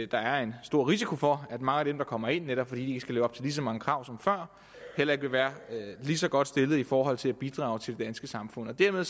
der er en stor risiko for at mange af dem der kommer ind netop fordi de ikke skal leve op til lige så mange krav som før heller ikke vil være lige så godt stillet i forhold til at bidrage til det danske samfund dermed